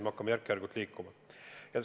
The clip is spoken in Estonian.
Me hakkame järk-järgult liikuma.